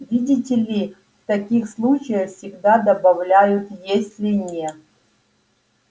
видите ли в таких случаях всегда добавляют если не